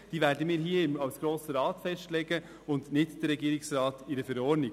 Sie wird vom Grossen Rat festgelegt und nicht vom Regierungsrat in einer Verordnung.